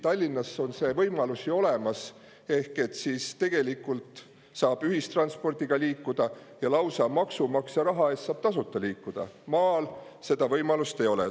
Tallinnas on see võimalus ju olemas ehk saab ühistranspordiga liikuda, maksumaksja raha eest saab lausa tasuta liikuda, aga maal seda võimalust ei ole.